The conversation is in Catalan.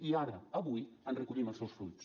i ara avui en recollim els seus fruits